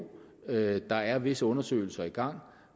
at der er visse undersøgelser i gang